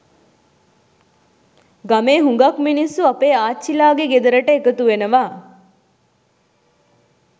ගමේ හුඟක් මිනිස්සු අපේ ආච්චිලාගේ ගෙදරට එකතු වෙනවා